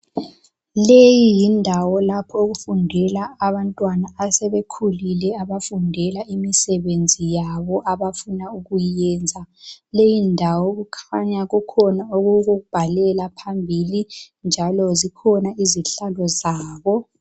Leyi yindawo lapho okufundela abantwana asebekhulile abafundela imisebenzi yabo abafuna ukuyenza. Leyi ndawo kukhanya kukhona okokubhalela phambili, njalo zikhona izihlalo zabo.